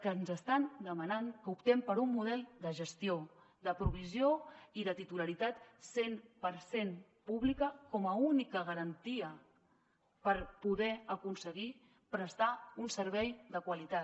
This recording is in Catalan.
que ens estan demanant que optem per un model de gestió de provisió i de titularitat cent per cent pública com a única garantia per poder aconseguir prestar un servei de qualitat